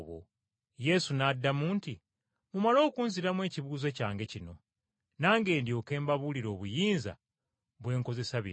Yesu n’addamu nti, “Mumale okunziramu ekibuuzo kyange kino, nange ndyoke mbabuulire obuyinza bwe nkozesa bino.